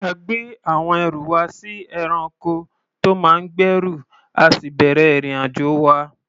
A gbé àwọn ẹrù wa sórí ẹranko tó máa ń gbẹ́rù, a sì bẹ̀rẹ̀ ìrìn-àjò wa.